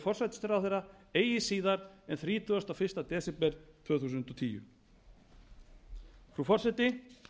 forsætisráðherra eigi síðar en þrítugasta og fyrsta desember tvö þúsund og tíu frú forseti